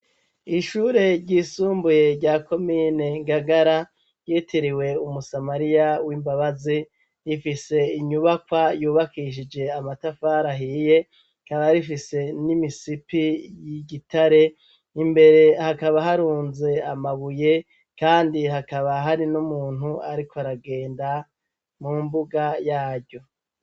Ishure ryisumbuye rya komine Ngagara ryitiriwe Umusamariya w'imbabazi, rifise inyubakwa yubakishije amatafiri ahiye, rikaba rifise n'imisipi y'igitare. Imbere hakaba harunze amabuye, kandi hakaba hari n'umuntu ariko aragenda mu mbuga yaryo.